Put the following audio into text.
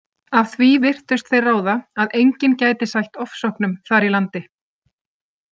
Af því virtust þeir ráða að enginn gæti sætt ofsóknum þar í landi.